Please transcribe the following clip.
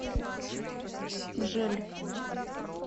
гжель